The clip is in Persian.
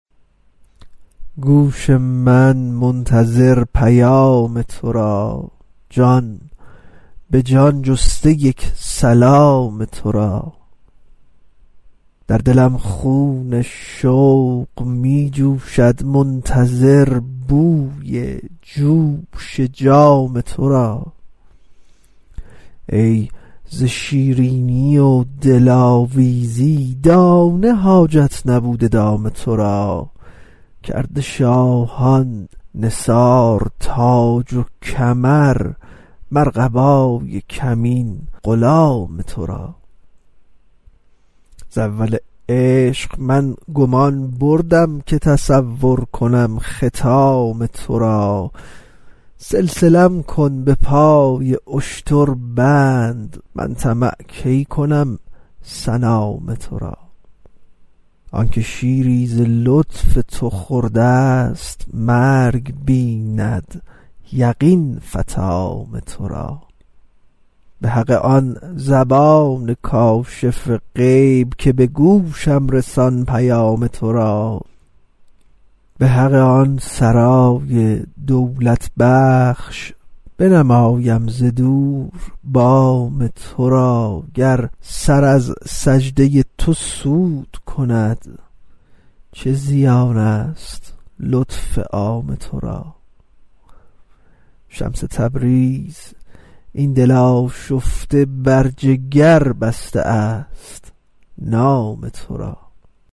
گوش من منتظر پیام تو را جان به جان جسته یک سلام تو را در دلم خون شوق می جوشد منتظر بوی جوش جام تو را ای ز شیرینی و دلاویزی دانه حاجت نبوده دام تو را کرده شاهان نثار تاج و کمر مر قبای کمین غلام تو را ز اول عشق من گمان بردم که تصور کنم ختام تو را سلسله ام کن به پای اشتر بند من طمع کی کنم سنام تو را آنک شیری ز لطف تو خورده ست مرگ بیند یقین فطام تو را به حق آن زبان کاشف غیب که به گوشم رسان پیام تو را به حق آن سرای دولت بخش بنمایم ز دور بام تو را گر سر از سجده تو سود کند چه زیانست لطف عام تو را شمس تبریز این دل آشفته بر جگر بسته است نام تو را